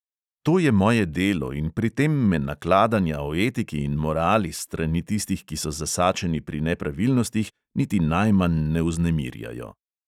To je moje delo in pri tem me nakladanja o etiki in morali s strani tistih, ki so zasačeni pri nepravilnostih, niti najmanj ne vznemirjajo.